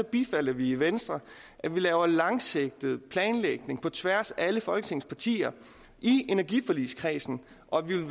bifalder vi i venstre at man laver en langsigtet planlægning på tværs af alle folketingets partier i energiforligskredsen og at vi